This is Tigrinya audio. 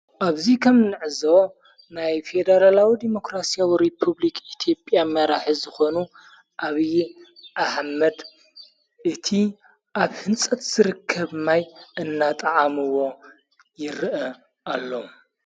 ኣብዙይ ከም ንዕዞ ናይ ፌደራላዊ ዴሞክራስያዊ ሬፑብልክ ኢቲብያ መራሕ ዝኾኑ ኣብዪ ኣሓመድ እቲ ኣብ ሕንጸት ዝርከብ ማይ እናጠዓምዎ ይርአ ኣሎ።